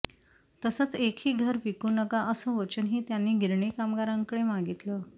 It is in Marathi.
तसंच एकही घर विकू नका असं वचनही त्यांनी गिरणी कामगारांकडे मागितलं